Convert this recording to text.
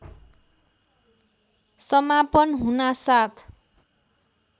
समापन हुनासाथ